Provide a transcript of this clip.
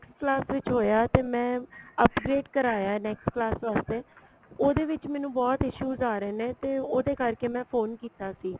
class ਵਿੱਚ ਹੋਇਆ ਤੇ ਮੈਂ upgrade ਕਰਾਇਆ next class ਵਾਸਤੇ ਉਹਦੇ ਵਿੱਚ ਮੈਨੂੰ ਬਹੁਤ issues ਆ ਰਹੇ ਨੇ ਤੇ ਉਹਦੇ ਕਰਕੇ ਮੈਂ phone ਕੀਤਾ ਸੀ